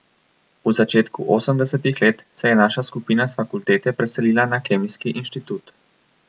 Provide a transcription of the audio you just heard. V začetku osemdesetih let se je naša skupina s fakultete preselila na Kemijski inštitut.